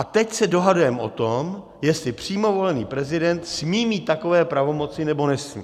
A teď se dohadujeme o tom, jestli přímo volený prezident smí mít takové pravomoci, nebo nesmí.